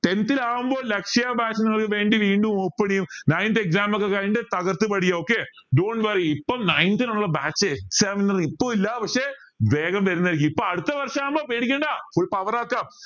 tenth ൽ ആവുമ്പോ ലക്ഷ്യ batch വീണ്ടും open ചെയ്യും ninth exam ഒക്കെ കഴിഞ്ഞിട്ട് തകർത്ത് പഠിക്ക okay dont worry ഇപ്പം ninth നുള്ള batch exam ഇപ്പൊ ഇല്ല പക്ഷെ വേഗം വരുന്നതായിരിക്കും ഇപ്പം അടുത്ത വർഷം ആവുമ്പൊ പേടിക്കണ്ട full power ആക്ക